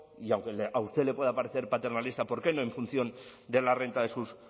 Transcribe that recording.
y aunque a usted le pueda parecer paternalista por qué no en función de la renta de sus